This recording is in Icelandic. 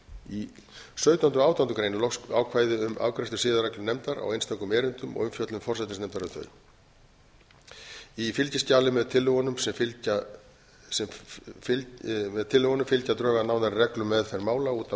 í sautjándu og átjándu grein er loks ákvæði um afgreiðslu siðareglunefndar á einstökum erindum og umfjöllun forsætisnefndar um þau í fylgiskjali með tillögunum fylgja drög að nánari reglum um meðferð mála út af